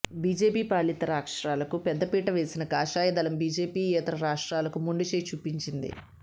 BJP పాలిత రాష్ట్రాలకు పెద్దపీట వేసిన కాషాయ దళం బీజేపీ యేతర రాష్ట్రాలకు మొండి చేయి చూపించింది